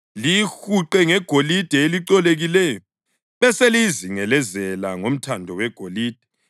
Liyihuqe ngegolide elicolekileyo, beseliyizingelezela ngomthando wegolide.